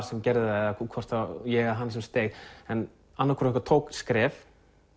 sem gerði það hvort það var ég eða hann sem steig en annar hvor okkar tók skref